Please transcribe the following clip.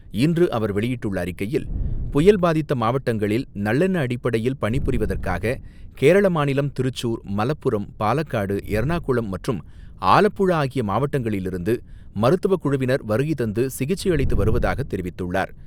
இன்று அவர் வெளியிட்டுள்ள அறிக்கையில், புயல் பாதித்த மாவட்டங்களில் நல்லெண்ண அடிப்படையில் பணி புரிவதற்காக கேரள மாநிலம் திருச்சூர், மலப்புரம், பாலக்காடு, எர்ணாகுளம், மற்றும் ஆலப்புழா ஆகிய மாவட்டங்களிலிருந்து மருத்துவக் குழுவினர் வருகை தந்து சிகிச்சை அளித்து வருவதாக தெரிவித்துள்ளார்.